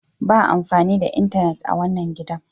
Ba amfani da intenet a wanan gidan!